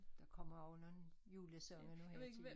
Der kommer også nogen julesange nu her til jul